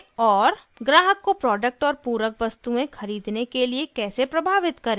ग्राहक को प्रोडक्ट और पूरक वस्तुएं खरीदने के लिए कैसे प्रभावित करें